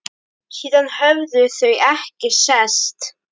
Síðan höfðu þau ekki sést.